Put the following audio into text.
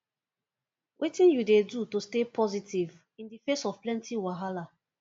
wetin you dey do to stay positive in di face of plenty wahala